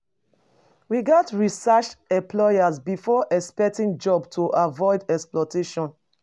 We gats research employers before accepting job to avoid exploitation.